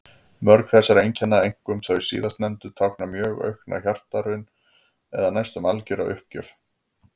Mörg þessara einkenna, einkum þau síðastnefndu, tákna mjög aukna hjartaraun eða næstum algjöra uppgjöf.